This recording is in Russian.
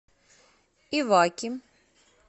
иваки